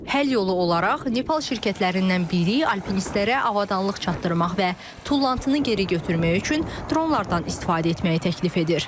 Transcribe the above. Həll yolu olaraq Nepal şirkətlərindən biri alpinistlərə avadanlıq çatdırmaq və tullantını geri götürmək üçün dronlardan istifadə etməyi təklif edir.